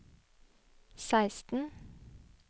seksten